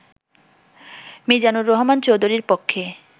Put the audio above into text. মিজানুর রহমান চৌধুরীর পক্ষে